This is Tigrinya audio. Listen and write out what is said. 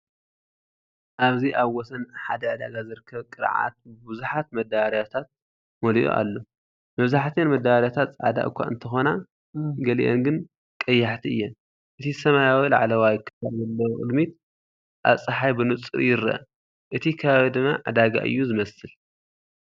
ኣብዚ ኣብ ወሰን ሓደ ዕዳጋ ዝርከብ ቅርዓት ብብዙሓት መዳበርያታት መሊኡ ኣሎ። መብዛሕትአን መዳበርያታት ጻዕዳ እኳ እንተኾና፡ ገሊአን ግን ቀያሕቲ እየን። እቲ ሰማያዊ ላዕለዋይ ክፋል ዘለዎ ቅድሚት ኣብ ጸሓይ ብንጹር ይርአ፣ እቲ ከባቢ ድማ ዕዳጋ እዩ ዝመስል።